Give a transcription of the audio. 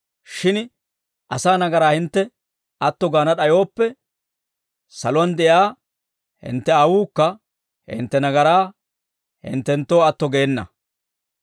Shin asaa nagaraa hintte atto gaana d'ayooppe, saluwaan de'iyaa hintte Aawuukka hintte nagaraa hinttenttoo atto geena.»